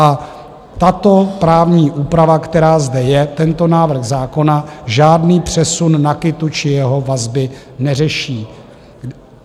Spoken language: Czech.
A tato právní úprava, která zde je, tento návrh zákona, žádný přesun NAKITu či jeho vazby neřeší.